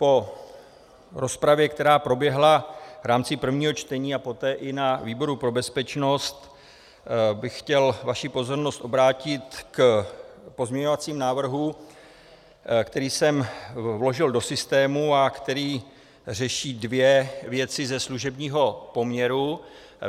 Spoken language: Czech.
Po rozpravě, která proběhla v rámci prvního čtení a poté i na výboru pro bezpečnost, bych chtěl vaši pozornost obrátit k pozměňovacímu návrhu, který jsem vložil do systému a který řeší dvě věci ze služebního poměru.